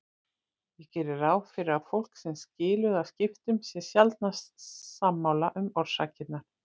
Ég geri ráð fyrir að fólk sem skilur að skiptum sé sjaldnast sammála um orsakirnar.